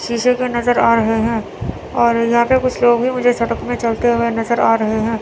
शीशे के नजर आ रहे हैं और यहां पे कुछ लोग भी मुझे सड़क में चलते हुए नजर आ रहे हैं।